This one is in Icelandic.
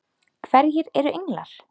Hverjir eru englar?